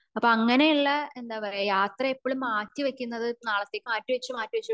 അപ്പൊ അങ്ങനെ ഉള്ള എന്താ പറയാ യാത്ര എപ്പോളും മാറ്റി വെക്കുന്ന നാളത്തേക്ക് മാറ്റി വച്ച മാറ്റി വച്ച്